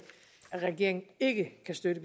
at regeringen ikke kan støtte